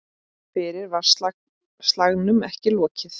Fyrr var slagnum ekki lokið.